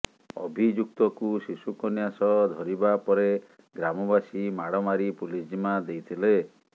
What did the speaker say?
ଅଭିଯୁକ୍ତକୁ ଶିଶୁକନ୍ୟା ସହ ଧରିବା ପରେ ଗ୍ରାମବାସୀ ମାଡ଼ ମାରି ପୁଲିସ ଜିମା ଦେଇଥିଲେ